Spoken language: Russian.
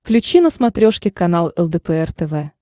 включи на смотрешке канал лдпр тв